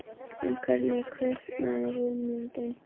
En hvernig kviknaði hugmyndin?